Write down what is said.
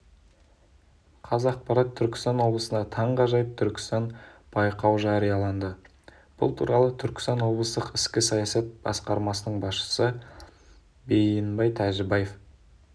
қазақпарат түркістан облысында таңғажайып түркістан байқауыжарияланды бұл туралы түркістан облыстық ішкі саясат басқармасының басшысы бейіенбай тәжібаев